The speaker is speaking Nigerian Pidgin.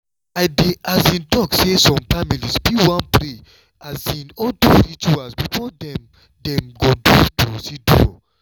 i dey um talk say some families fit wan pray um or do rituals before dem dem go do procedure.